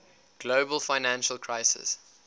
global financial crisis